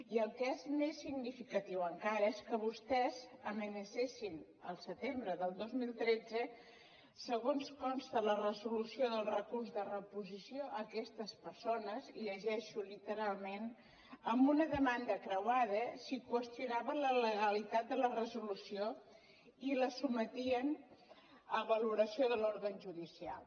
i el que és més significatiu encara és que vostès amenacessin el setembre del dos mil tretze segons consta a la resolució del recurs de reposició aquestes persones i ho llegeixo literalment amb una demanda creuada si qüestionaven la legalitat de la resolució i la sotmetien a valoració de l’òrgan judicial